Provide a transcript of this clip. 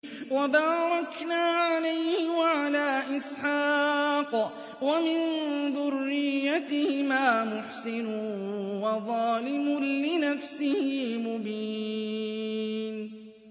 وَبَارَكْنَا عَلَيْهِ وَعَلَىٰ إِسْحَاقَ ۚ وَمِن ذُرِّيَّتِهِمَا مُحْسِنٌ وَظَالِمٌ لِّنَفْسِهِ مُبِينٌ